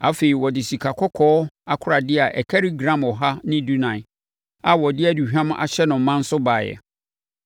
Afei, ɔde sikakɔkɔɔ akoradeɛ a ɛkari gram ɔha ne dunan (114) a wɔde aduhwam ahyɛ no ma nso baeɛ.